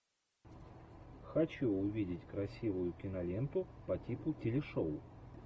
хочу увидеть красивую киноленту по типу телешоу